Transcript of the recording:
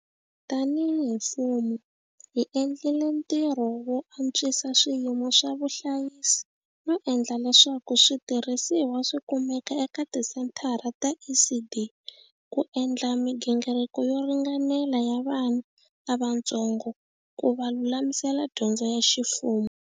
Tanihi mfumo, hi endlile ntirho wo antswisa swiyimo swo vuhlayisi no endla leswaku switi rhisiwa swi kumeka eka tisenthara ta ECD ku endla migingiriko yo ringanela ya vana lavatsongo ku va lulamisela dyondzo ya ximfumo.